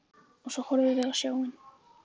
Og svo horfum við á snjóinn.